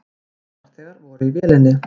Tveir farþegar voru í vélinni.